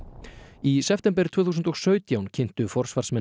í september tvö þúsund og sautján kynntu forsvarsmenn